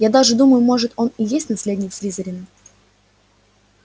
я даже думаю может он и есть наследник слизерина